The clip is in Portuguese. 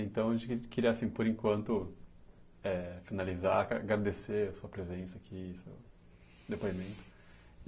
Então, a gente queria assim, por enquanto eh, finalizar, aga agradecer a sua presença aqui, depoimento.